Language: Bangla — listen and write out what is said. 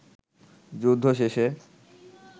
যুদ্ধ শেষে